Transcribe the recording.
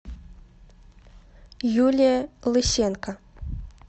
юлия лысенко